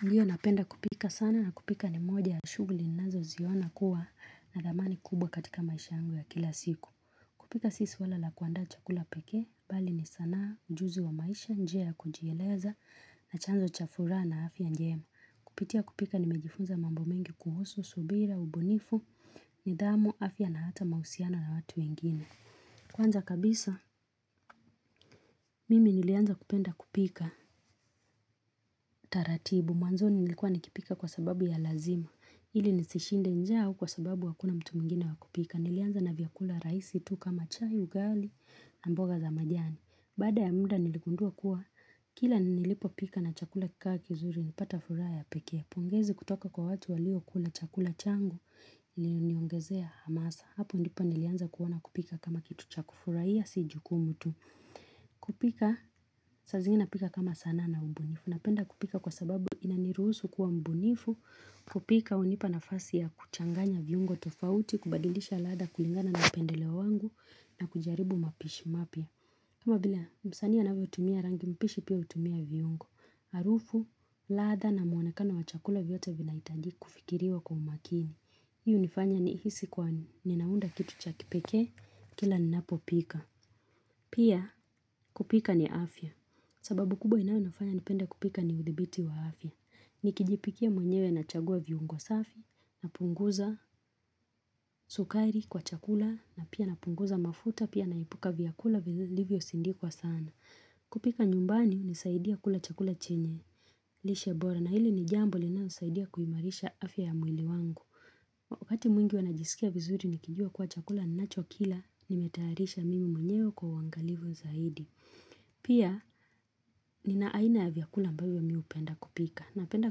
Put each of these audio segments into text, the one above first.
Hiyo napenda kupika sana na kupika ni moja ya shughuli ninazo ziona kuwa na dhamani kubwa katika maisha yangu ya kila siku. Kupika si swala la kuaanda chakula pekee, bali ni sanaa ujuzi wa maisha njia kujieleza na chanzo cha furaha na afya njema. Kupitia kupika nimejifunza mambo mengi kuhusu, subira, ubunifu, nidhamu, afya na hata mahusiano na watu wengine. Kwanza kabisa, mimi nilianza kupenda kupika taratibu. Mwanzoni nilikuwa nikipika kwa sababu ya lazima. Ili nisishinde njaa au kwa sababu hakuna mtu mingine wakupika. Nilianza na vyakula raisi tu kama chai, ugali, mboga na majani. Baada ya muda niligundua kuwa kila nilipo pika na chakula kikakizuri nipata furaha ya peke. Pongezi kutoka kwa watu walio kula chakula changu ili niongezea hamasa. Hapo ndipo nilianza kuoana kupika kama kitu cha kufurahiya si jukumu tu. Kupika, saa zingine napika kama sanaa na ubunifu Napenda kupika kwa sababu inaniruhusu kuwa mbunifu kupika unipanafasi ya kuchanganya viungo tofauti kubadilisha ladha kulingana na upendeleo wa wangu na kujaribu mapishi mapya kama vile msaani anavyo hutumia rangi mpishi pia utumia viungo Arufu, ladha na muonekano wachakula vyote vinahitaji kufikiriwa kwa umakini hiyo unifanya ni hisi kwani ninaunda kitu cha kipekee Kila ninapo pika Pia kupika ni afya, sababu kubwa inayo nifanya nipende kupika ni uthibiti wa afya. Nikijipikia mwenyewe na chagua viungo safi, napunguza sukari kwa chakula, na pia napunguza mafuta, pia naipuka vyakula vilivyosindikwa sana. Kupika nyumbani, hunisaidia kula chakula chenye, lishe bora, na hili ni jambo linalosaidia kuhimarisha afya ya mwili wangu. Wakati mwingi huwanajisikia vizuri nikijua kuwa chakula, nacho kila nimetaarisha mimi mwenyewe kwa huaangalivu zaidi. Pia ninaaina ya vyakula ambavyo mi hupenda kupika. Napenda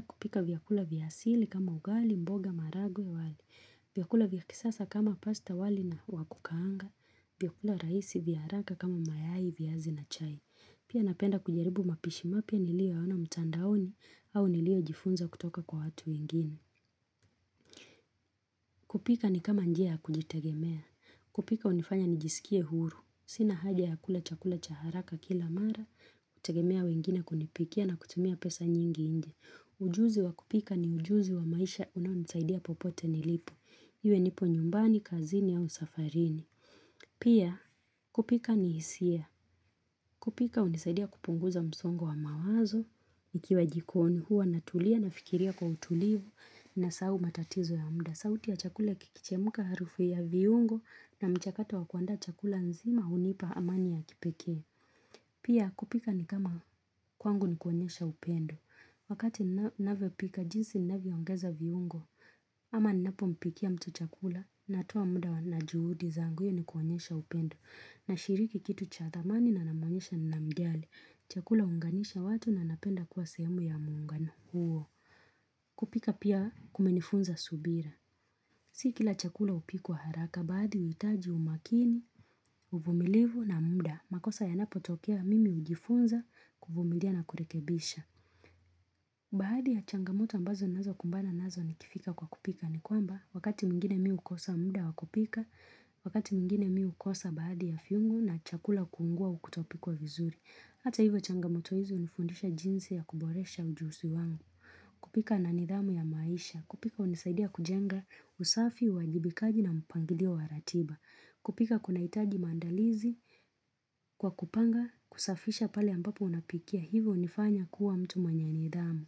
kupika vyakula vyaasili kama ugali, mboga, maragwe, wali. Vyakula vyakisasa kama pasta wali na wakukaanga. Vyakula raisi, vyaharaka kama mayai, viazi na chai. Pia napenda kujaribu mapishimapya niliyo yaona mtandaoni au niliyo jifunza kutoka kwa watu wengine. Kupika ni kama njia ya kujitegemea. Kupika hunifanya nijisikie huru. Sina haja ya kula chakula cha haraka kila mara. Kutegemea wengine kunipikia na kutumia pesa nyingi nje. Ujuzi wa kupika ni ujuzi wa maisha unanisaidia popote nilipo. Iwe nipo nyumbani, kazini au safarini. Pia kupika ni hisia. Kupika unisaidia kupunguza msongo wa mawazo. Ikiwa jikoni hua na tulia na fikiria kwa utulivu nasahau matatizo ya muda. Sauti ya chakule kikichemuka harufu ya viungo na mchakato wa kuanda chakula nzima hunipa amani ya kipekee. Pia kupika ni kama kwangu ni kuonyesha upendo. Wakati ninavyo pika jinsi ninavyo ongeza viungo. Ama ninapo mpikia mtu chakula natoa muda na juhudi zangu hiyo ni kuonyesha upendo. Na shiriki kitu cha thamani na namanisha nina mjali. Chakula huunganisha watu na napenda kuwa sehemu ya muungano huo. Kupika pia kumenifunza subira. Sikila chakula hupikwa haraka baadhi huitaji umakini, uvumilivu na muda. Makosa yanapo tokea mimi hujifunza kuvumilia na kurekebisha. Baadhi ya changamoto ambazo ninazo kumbana nazo nikifika kwa kupika ni kwamba wakati mwingine mi hukosa muda wakupika, wakati mingine mi hukosa baadhi ya viungu na chakula kuungua au kutopikwa vizuri. Hata hivyo changamoto hizi hunifundisha jinsi ya kuboresha ujuzi wangu. Kupika ni nidhamu ya maisha. Kupika hunisaidia kujenga usafi, huwajibikaji na mpangilio wa ratiba. Kupika kuna hitaji maandalizi kwa kupanga kusafisha pale ambapo unapikia. Hivyo hunifanya kuwa mtu mwenye nidhamu.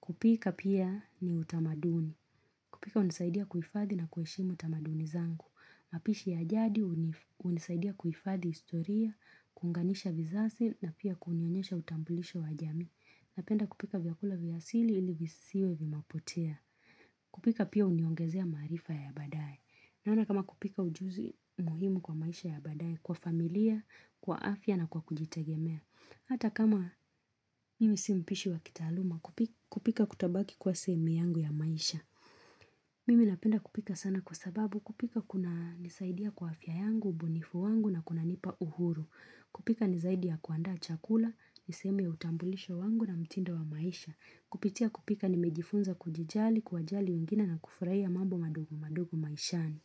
Kupika pia ni utamaduni. Kupika hunisaidia kuhifadhi na kuheshimu utamaduni zangu. Mapishi ya jadi unisaidia kuifadhi historia, kuunganisha vizazi na pia kunionyesha utambulisho wa jamii. Napenda kupika vyakula vyasili ili visiwe vimepotea. Kupika pia uniongezea maarifa ya baadae. Nauna kama kupika ujuzi muhimu kwa maisha ya baadae kwa familia, kwa afya na kwa kujitegemea. Hata kama mimi si mpishi wa kitaaluma kupika kutabaki kwa sehemu yangu ya maisha. Mimi napenda kupika sana kwa sababu kupika kuna nisaidia kwa afya yangu, ubunifu wangu na kuna nipa uhuru. Kupika nizaidi kuaanda chakula, nisehemu ya utambulisho wangu na mtindo wa maisha. Kupitia kupika nimejifunza kujijali, kwa wajali wengine na kufurahia mambo madogo madogo maishani.